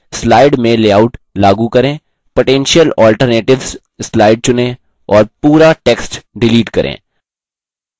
potential alternatives slide चुनें और पूरा text डिलीट करें